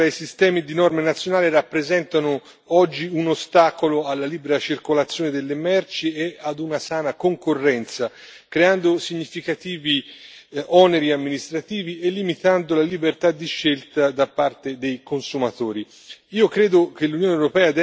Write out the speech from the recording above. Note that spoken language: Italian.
Le tante differenze tra i sistemi di norme nazionali rappresentano oggi un ostacolo alla libera circolazione delle merci e ad una sana concorrenza, creando significativi oneri amministrativi e limitando la libertà di scelta da parte dei consumatori.